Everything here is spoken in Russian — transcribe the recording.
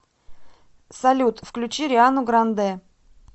салют включи риану грандэ